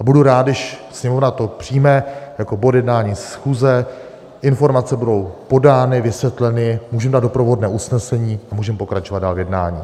A budu rád, když Sněmovna to přijme jako bod jednání schůze, informace budou podány, vysvětleny, můžeme dát doprovodné usnesení a můžeme pokračovat dál v jednání.